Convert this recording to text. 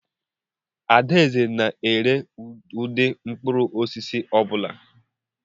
Adaeze na-ere ụdị mkpụrụ osisi ọ bụla.